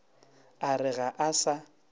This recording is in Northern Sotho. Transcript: a re ga a sa